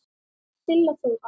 Silla Þóra.